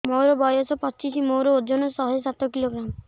ମୋର ବୟସ ପଚିଶି ମୋର ଓଜନ ଶହେ ସାତ କିଲୋଗ୍ରାମ